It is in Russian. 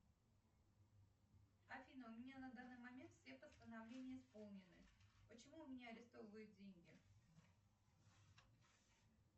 афина у меня на данный момент все постановления исполнены почему у меня арестовывают деньги